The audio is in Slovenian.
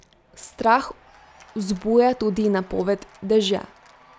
Strah vzbuja tudi napoved dežja.